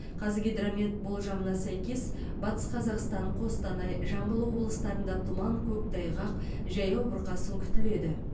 қазгидромет болжамына сәйкес батыс қазақстан қостанай жамбыл облыстарында тұман көктайғақ жаяу бұрқасын күтіледі